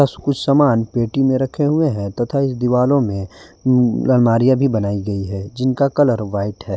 जो कुछ सामान पेटी में रखे हुए हैं तथा इस दीवारों में अलमारियां भी बनाई गई है जिनका कलर व्हाइट है।